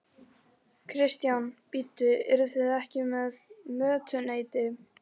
Kristján: Bíddu, eruð þið ekki með mötuneyti?